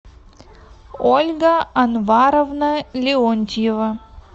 ольга анваровна леонтьева